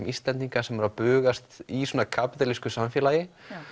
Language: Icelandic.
Íslendinga sem eru að bugast í svona kapítalísku samfélagi